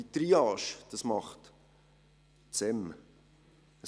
Diese Triage macht das SEM.